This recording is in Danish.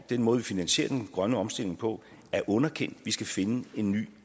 den måde vi finansierer den grønne omstilling på er underkendt vi skal finde en ny